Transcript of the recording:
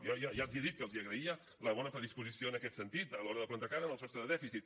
jo ja els he dit que els agraïa la bona predisposició en aquest sentit a l’hora de plantar cara al sostre de dèficit